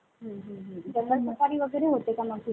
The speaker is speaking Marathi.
हुं हुं. जंगल सफारी वगैरे होते का मग तिथे?